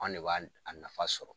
An ne b'a a nafa sɔrɔ.